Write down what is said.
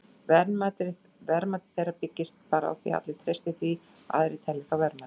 Verðmæti þeirra byggist bara á því að allir treysti því að aðrir telji þá verðmæta.